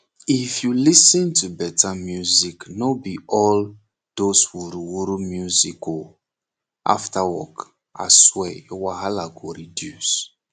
if u dey lis ten to better musicno b all those wuruwuru music oo after work aswear ur wahala go reduce